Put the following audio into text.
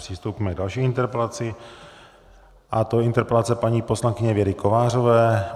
Přistoupíme k další interpelaci a to je interpelace paní poslankyně Věry Kovářové.